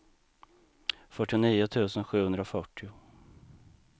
fyrtionio tusen sjuhundrafyrtio